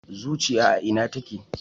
Zuciya a Ina take